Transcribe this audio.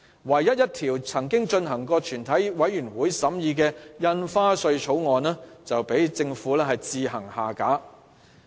唯一一項已進入全體委員會審議的《2017年印花稅條例草案》，卻被政府強行擱置。